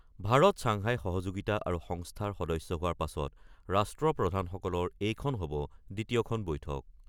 Bharat Shanghai সহযোগিতা সংস্থাৰ সদস্য হোৱাৰ পাছত ৰাষ্ট্ৰপ্ৰধানসকলৰ এইখন হব দ্বিতীয়খন বৈঠক।